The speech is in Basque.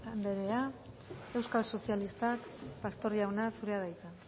andrea euskal sozialistak pastor jauna zurea da hitza